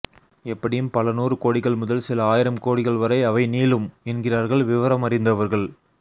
எப்படியும் பல நூறு கோடிகள் முதல் சில ஆயிரம் கோடிகள் வரை அவை நீளும் என்கிறார்கள் விவரமறிந்தவர்கள்